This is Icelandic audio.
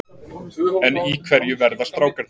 En í hverju verða strákarnir?